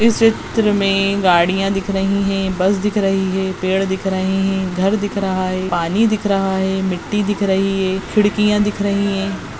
इस चित्र मे गाड़िया दिख रही है बस दिख रही है पेड़ दिख रहे है घर दिख रहा है पानी दिख रहा है मिट्टी दिख रही है खिड़किया दिख रही है।